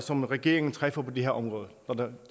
som regeringen træffer på det her område